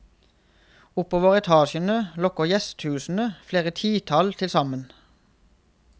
Oppover etasjene lokker gjestehusene, flere titall tilsammen.